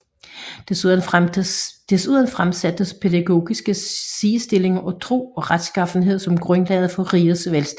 Desuden fremsættes pædagogiske sidestillinger af tro og retsskaffenhed som grundlaget for rigets velstand